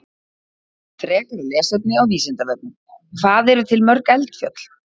Frekara lesefni á Vísindavefnum: Hvað eru til mörg eldfjöll?